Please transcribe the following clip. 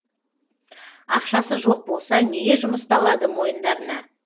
ақшасы жоқ болса неге жұмысты алады мойындарына